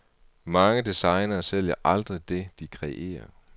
Mange designere sælger aldrig det, de kreerer.